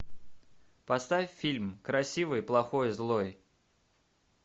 поставь фильм красивый плохой злой